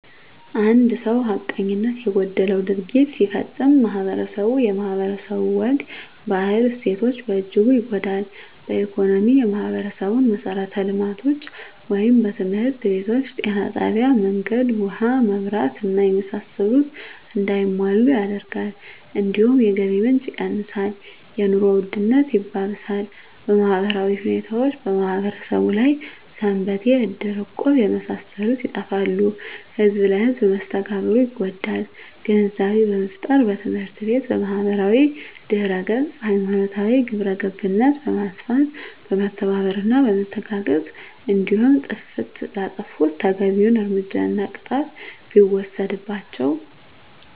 አንድ ሰው ሀቀኝነት የጎደለው ድርጊት ሲፈፀም ማህበረስቡ የማህበረሰቡ ወግ ባህል እሴቶች በእጅጉ ይጎዳል በኢኮኖሚ የማህበረሰቡን መሠረተ ልማቶች( ትምህርት ቤቶች ጤና ጣቢያ መንገድ ውሀ መብራት እና የመሳሰሉት) እንዳይሟሉ ያደርጋል እንዲሁም የገቢ ምንጭ የቀንሳል የኑሮ ውድነት ያባብሳል በማህበራዊ ሁኔታዎች በማህበረሰቡ ያሉ ሰንበቴ እድር እቁብ የመሳሰሉት ይጠፋሉ ህዝብ ለህዝም መስተጋብሩ ይጎዳል ግንዛቤ በመፍጠር በትምህርት ቤት በማህበራዊ ድህረገፅ ሀይማኖታዊ ግብረገብነት በማስፋት በመተባበርና በመተጋገዝ እንዲሁም ጥፍት ላጠፉት ተገቢዉን እርምጃና ቅጣት ሲወሰድባቸው